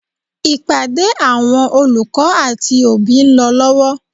Ìpàdé àwọn olùkọ́ àti òbí ń lọ lọ́wọ́.